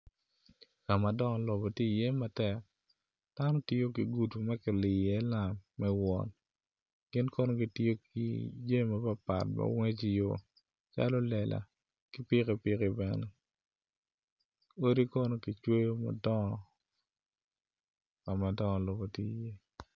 Ka ma dongo lobo tye iye matek dano gitiyo iye ki gudu lam me wot gin kono gitye ki jami mapatpat ma woto i yo calo lela ki pikipiki doi kono kicwyo madongo ka ma dongo lobo tye iye.